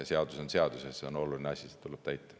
Seadus on seadus ja see on oluline asi, seda tuleb täita.